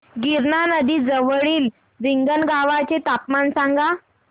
गिरणा नदी जवळील रिंगणगावाचे तापमान सांगा